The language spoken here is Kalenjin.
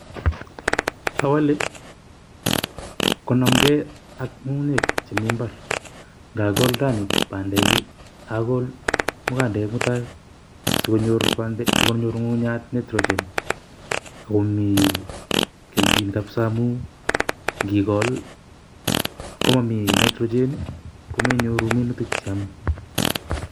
Awalei konamkei ak ng'ungunyek chemii mbar, ngakool rani bandek akol mugandek mutai, sikonyor ng'ung'uchat nitrogen. Akomii kelgin kabsaa amuu ngikool komomii nitrogen komenyoruu minutik che yomei.